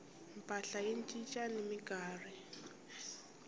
mpahla yi cinca ni minkarhi